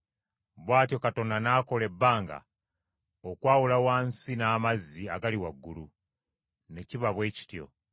Bw’atyo Katonda n’akola ebbanga okwawula wansi n’amazzi agali waggulu. Ne kiba bwe kityo.